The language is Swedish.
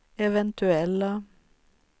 eventuella